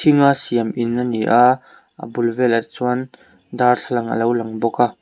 thinga siam in ani aa a bul velah chuan darthlalang alo lang bawk a.